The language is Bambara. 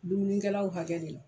Dumunikɛlaw hakɛ de la.